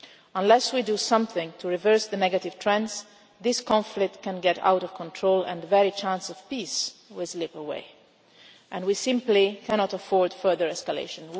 Unless we do something to reverse the negative trends, this conflict could get out of control and the very chance of peace would slip away. We simply cannot afford further escalation.